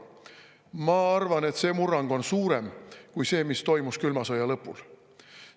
Ma arvan, et see murrang on suurem kui see, mis toimus külma sõja lõpul.